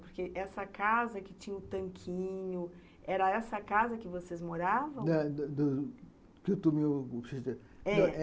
Porque essa casa que tinha o tanquinho, era essa casa que vocês moravam?